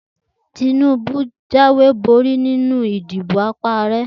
Tinubu jáwé borí nínú ìdìbò ipò Ààrẹ.